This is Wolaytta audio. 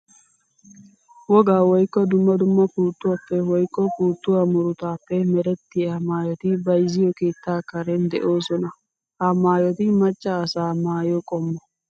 Wogaa woykko dumma dumma puutuwappe woykko puutuwa murutappe merettiya maayotti bayzziyo keetta karen de'osonna. Ha maayotti maca asaa maayo qommo.